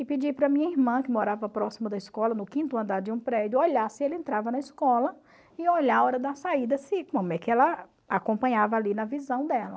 E pedi para minha irmã, que morava próxima da escola, no quinto andar de um prédio, olhar se ele entrava na escola e olhar a hora da saída, se como é que ela acompanhava ali na visão dela.